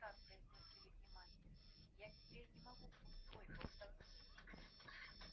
вот так произнёс великий мастер я теперь не могу пустой болтовни